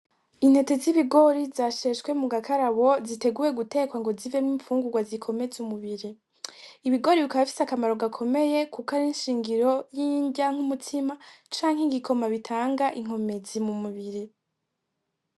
Intete z'ibigori zasheshwe mu gakarabo ziteguwe gutekwa ngo zivemwo imfungurwa zikomeza umubiri. Ibigori bikaba bifise akamaro gakomeye kuko ari inshingiro y'inrya nk'umutsima canke igikoma bitanga inkomezi mu mubiri.